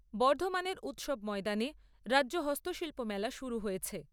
বর্ধমানের উৎসব ময়দানে রাজ্য হস্তশিল্প মেলা শুরু হয়েছে।